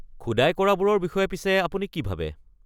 খোদাই কৰাবোৰৰ বিষয়ে পিছে আপুনি কি ভাবে?